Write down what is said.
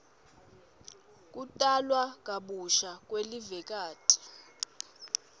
kutalwa kabusha kwelivekati